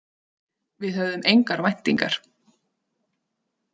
Við höfðum engar væntingar.